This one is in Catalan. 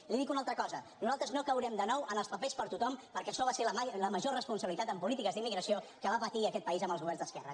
i li dic una altra cosa nosaltres no caurem de nou en els papers per a tothom perquè això va ser la ma·jor irresponsabilitat en polítiques d’immigració que va patir aquest país amb els governs d’esquerres